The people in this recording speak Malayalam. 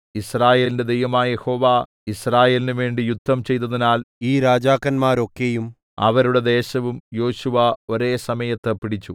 യിസ്രായേലിന്റെ ദൈവമായ യഹോവ യിസ്രായേലിനുവേണ്ടി യുദ്ധം ചെയ്തതിനാൽ ഈ രാജാക്കന്മാരെയൊക്കെയും അവരുടെ ദേശവും യോശുവ ഒരേ സമയത്ത് പിടിച്ചു